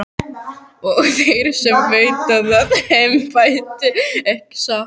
Og þeir sem veita það embætti, ekki satt?